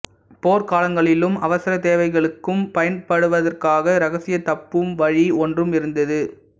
போர்க் காலங்களிலும் அவசர தேவைகளுக்கும் பயன்படுத்துவதற்காக இரகசியத் தப்பும் வழி ஒன்றும் இருந்தது